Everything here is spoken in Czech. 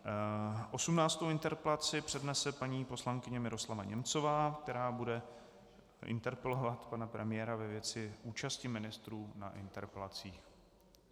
Osmnáctou interpelaci přednese paní poslankyně Miroslava Němcová, která bude interpelovat pana premiéra ve věci účasti ministrů na interpelacích.